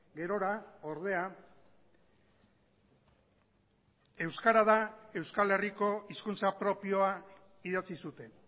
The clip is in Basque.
gerora ordea euskara da euskal herriko hizkuntza propioa idatzi zuten